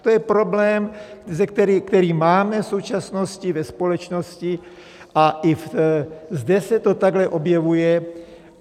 To je problém, který máme v současnosti ve společnosti a i zde se to takhle objevuje.